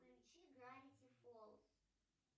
включи гравити фолз